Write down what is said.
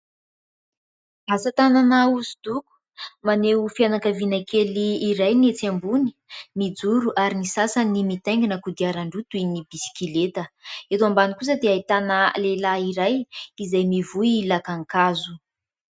Asa-tanana osodoko, maneo fianankaviana kely iray, ny etsy ambony mijoro ary ny sasany mitaingina kodiaran-droa toy ny bisikileta ; eto ambany kosa dia ahitana lehilahy iray izay mivoy lakankazo.